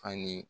Fani